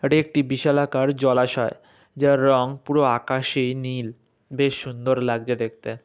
এটা একটি বিশালাকার জলাশয় যার রং পুরো আকাশি নীল বেশ সুন্দর লাগছে দেখতে।